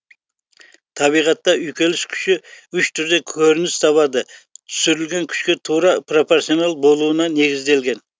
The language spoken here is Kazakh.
табиғатта үйкеліс күші үш түрде көрініс табады түсірілген күшке тура пропорционал болуына негізделген